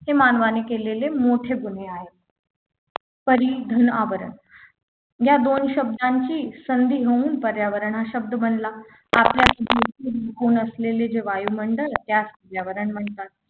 हे मानवाने केलेले मोठे गुन्हे आहेत परी घनआवरण या दोन शब्दांची संधी होऊन पर्यावरण हा शब्द बनला आपल्या असलेले जे वायुमंडल त्यास पर्यावरण म्हणतात